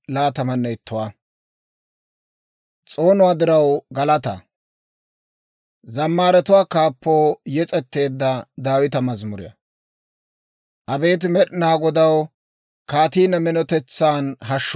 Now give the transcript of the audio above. Abeet Med'inaa Godaw, kaatii ne minotetsan hashshu gee; neeni immeedda s'oonuwaan I ayaa nashettii!